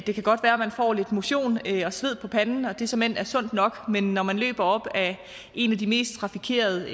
det kan godt være at man får lidt motion og sved på panden og at det såmænd er sundt nok men når man løber op af en af de mest trafikerede